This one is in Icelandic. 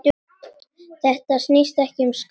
Þetta snýst ekki um skatta.